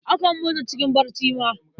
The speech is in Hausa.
Akan mutu cikin barci ma.